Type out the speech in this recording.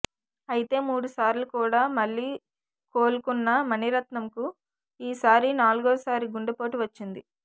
అయితే మూడుసార్లు కూడా మళ్ళీ కోలుకున్న మణిరత్నం కు ఈసారి నాలుగోసారి గుండెపోటు వచ్చింది